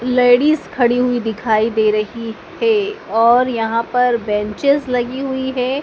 Ladies खड़ी हुई दिखाई दे रही है और यहां पर बेंचेस लगी हुई है।